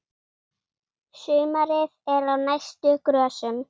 Sumarið er á næstu grösum.